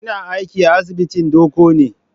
Kina aiki a asibitin Doko ne?